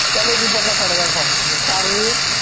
त्याले बी पन्नास साठ हजार form मग